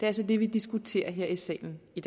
altså det vi diskuterer her i salen i